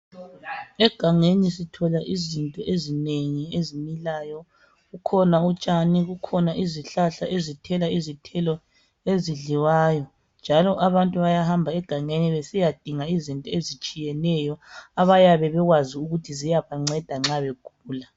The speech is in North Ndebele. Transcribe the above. Egangeni sithola izinto ezinengi ezimilayo. Kukhona utshani, kukhona izihlahla ezithela izithelo ezidliwayo. Njalo abantu bayahamba egangeni besiyadinga izinto ezitshiyeneyo abayabe bekwazi ukuthi ziyabanceda nxa begula.